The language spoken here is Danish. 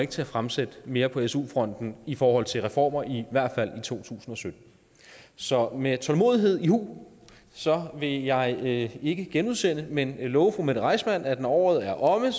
til at fremsætte mere på su fronten i forhold til reformer i i hvert fald to tusind og sytten så med tålmodighed i hu vil jeg ikke ikke genudsende men love fru mette reissmann at når året er omme